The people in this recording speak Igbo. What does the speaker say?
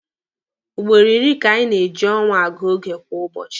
Ugboro iri ka anyị na-eji ọnwa agụ oge kwa ụbọchị.